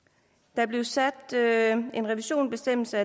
der blev sat en revisionsbestemmelse